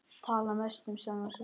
Tala mest um sjálfan sig.